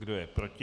Kdo je proti?